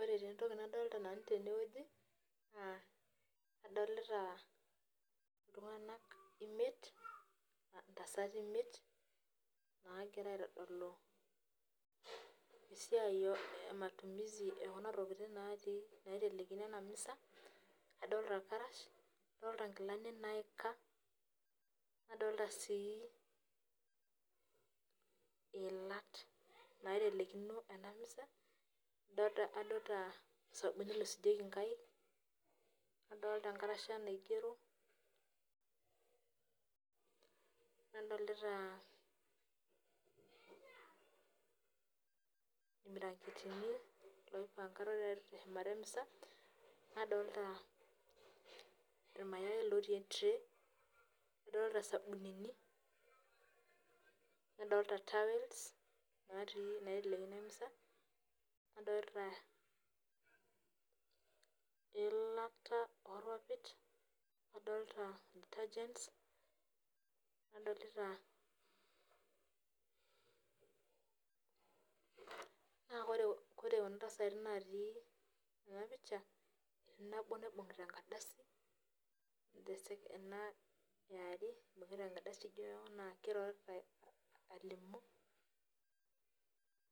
Ore taa entopki nadolita nanu tene wueji, adolita iltung'anak imiet, intasati imiet, naagira aitodolu esiai e matumizi e kuna tokitin naitelekino ena miza, adolita ilkarash, adolita inkilani naika, nodolita sii iilat naitelekino ena miza, nadolita osabuni loisujieki inkaik, nadolita enkarasha naigero, nadolita ilbiranketini loipangaro te eshumata emisa, nadolita ilmayai lootii entrei, nadolita isabunini, nadolita towels naitelekino emisa, nadolita eilata orpapit adolita detergents. Naa ore kuna tasati natii ena pisha etii nabo naibung'ita enkardasi, ena eare eibung'ita enkardasi ijo naa keirorita alimu,